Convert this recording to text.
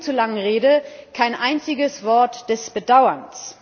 In ihrer viel zu langen Rede kein einziges Wort des Bedauerns!